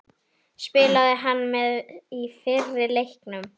Spilaði hann með í fyrri leiknum?